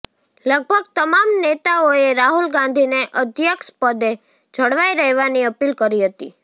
લગભગ તમામ નેતાઓએ રાહુલ ગાંધીને અધ્યક્ષપદે જળવાઈ રહેવાની અપીલ કરી હતી